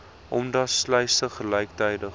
omdat sluise gelyktydig